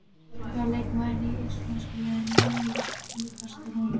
Hvaða leikmaður í íslenska liðinu er líkastur honum?